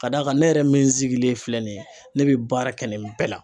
Ka d'a kan, ne yɛrɛ min sigilen filɛ nin ye , ne bɛ baara kɛ nin bɛɛ la.